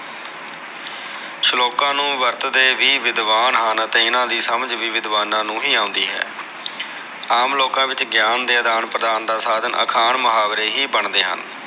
ਸ਼ਲੋਕਾ ਨੂ ਵਰਤਦੇ ਵੀ ਵਿਦਵਾਨ ਹਨ ਅਤੇ ਇਹਨਾ ਦੀ ਸਮਝ ਵੀ ਵਿਦਵਾਨਾ ਨੂ ਹੀ ਆਉਂਦੀ ਹੈ ਆਮ ਲੋਕਾ ਵਿਚ ਗਿਆਨ ਦਾ ਆਦਾਨ ਪ੍ਰਦਾਨ ਦਾ ਸਾਧਨ ਅਖਾਣ ਮੁਹਾਵਰੇ ਹੀ ਬਣਦੇ ਹਨ